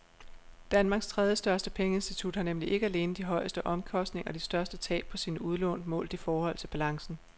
Danmarks tredjestørste pengeinstitut har nemlig ikke alene de højeste omkostninger og de største tab på sine udlån målt i forhold til balancen.